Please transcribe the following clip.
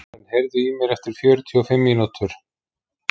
Karen, heyrðu í mér eftir fjörutíu og fimm mínútur.